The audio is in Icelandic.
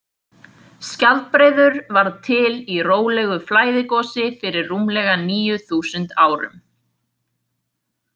Skjaldbreiður varð til í rólegu flæðigosi fyrir rúmlega níu þúsund árum.